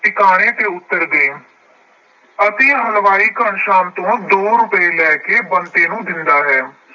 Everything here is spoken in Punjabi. ਟਿਕਾਣੇ ਤੇ ਉਤਰ ਗਏ ਅਤੇ ਹਲਵਾਈ ਘਣਸ਼ਿਆਮ ਤੋਂ ਦੋ ਰੁਪਏ ਲੈ ਕੇ ਬੰਤੇ ਨੂੰ ਦਿੰਦਾ ਹੈ।